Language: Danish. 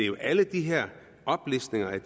jo alle de her oplistninger af